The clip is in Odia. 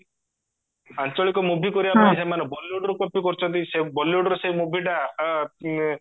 ଆଞ୍ଚଳିକ movie କରିବା ପାଇଁ ଏମାନେ bollywoodରୁ copy କରୁଚନ୍ତି ସେ bollywoodର ସେଇ movieଟା ଅ